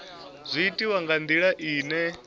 zwi itwa nga ndila ine